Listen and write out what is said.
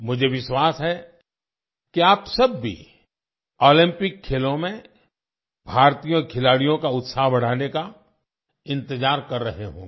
मुझे विश्वास है कि आप सब भी ओलंपिक खेलों में भारतीय खिलाड़ियों का उत्साह बढ़ाने का इंतजार कर रहे होंगे